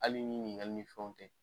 Hali ni ɲiniŋali ni fɛnw tɛ